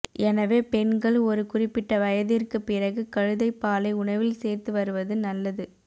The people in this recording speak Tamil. எனவே பெண்கள் ஒரு குறிப்பிட்ட வயதிற்கு பிறகு கழுதைப் பாலை உணவில் சேர்த்து வருவது நல்லது